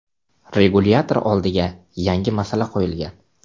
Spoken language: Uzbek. Regulyator oldiga yangi masala qo‘yilgan.